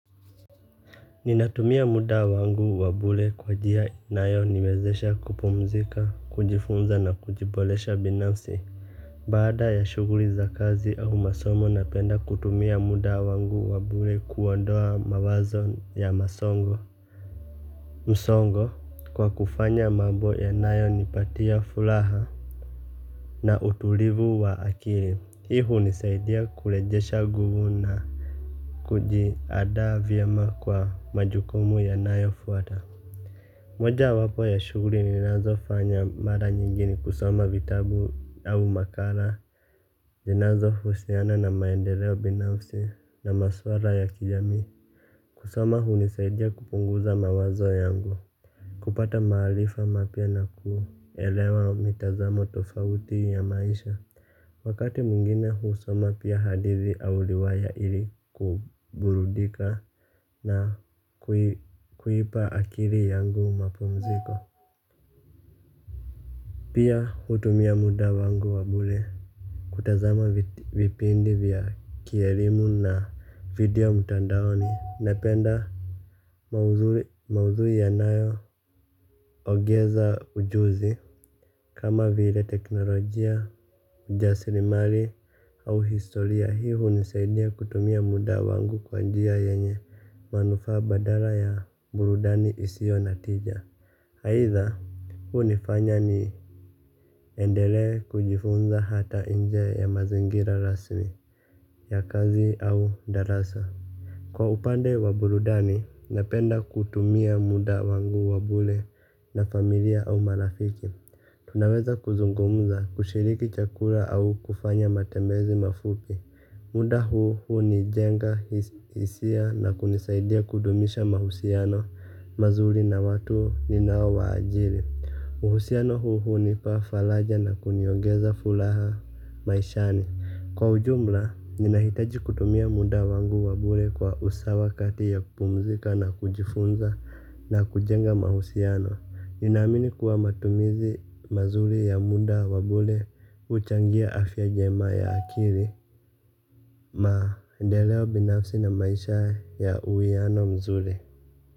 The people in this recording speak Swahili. Ninatumia muda wangu wa bule kwa jia inayoniwezesha kupumzika, kujifunza na kujibolesha binafsi. Baada ya shughuri za kazi au masomo napenda kutumia muda wangu wa bule kuondoa mawazo ya masongo. Msongo kwa kufanya mambo yanayonipatia fulaha na utulivu wa akili, hii hunisaidia kulejesha guvu na kujiadaa vyema kwa majukumu yanayofuata. Mojawapo ya shughuri ninazofanya mara nyingi ni kusoma vitabu au makara zinazohusiana na maendeleo binafsi na maswara ya kijami. Kusoma hunisaidia kupunguza mawazo yangu. Kupata mahalifa mapya na kuelewa mitazamo tofauti ya maisha. Wakati mwingine husoma pia hadithi au liwaya ili kuburudika na kuipa akiri yangu mapumziko. Pia hutumia muda wangu wa bule, kutazama vipindi vya kierimu na video mutandaoni, napenda maudhui yanayoogeza ujuzi, kama vile teknolojia, ujasirimali au historia, hii hunisaidia kutumia muda wangu kwa njia yenye manufaa badala ya burudani isio na tija. Aidha, hunifanya niendele kujifunza hata inje ya mazingira rasmi ya kazi au darasa. Kwa upande wa burudani, napenda kutumia muda wangu wa bule na familia au marafiki. Tunaweza kuzungumza kushiriki chakura au kufanya matembezi mafupi. Muda huo hunijenga hisia na kunisaidia kudumisha mahusiano mazuri na watu ninaowaajiri. Uhusiano huu hunipa falaja na kuniogeza fulaha maishani. Kwa ujumla, ninahitaji kutumia muda wangu wa bule kwa usawa kati ya kupumzika na kujifunza na kujenga mahusiano. Ninaamini kuwa matumizi mazuri ya muda wa bule huchangia afya njema ya akiri. Maendeleo binafsi na maisha ya uwiano mzuri.